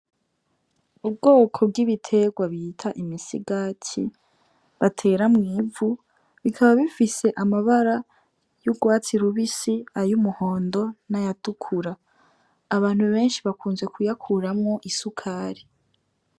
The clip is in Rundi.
Ubwoko bw'ibiterwa bita imisigati batera mw'ivu bikaba bifise amabara y'urwatsi rubisi ay’umuhondo n'ayatukura abantu benshi bakunze kuyakuramwo isukari.